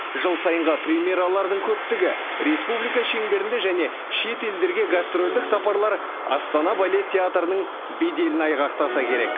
жыл сайынғы премьералардың көптігі республика шеңберінде және шетелдерге гастрольдік сапарлар астана балет театрының беделін айғақтаса керек